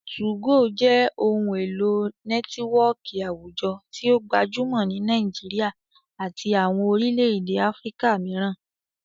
2go jẹ ohun elo nẹtiwọọki awujọ ti o gbajumọ ni Nigeria ati awọn orilẹ-ede Afirika miiran.